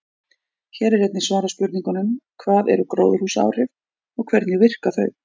Hér er einnig svarað spurningunum: Hvað eru gróðurhúsaáhrif og hvernig virka þau?